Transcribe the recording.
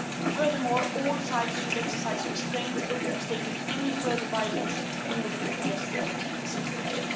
Furthermore, all sides should exercise restraint and abstain from any further violence in order to de-escalate the situation.